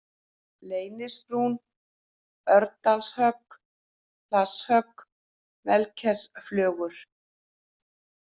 Leynisbrún, Örndalshögg, Hlasshögg, Melskersflögur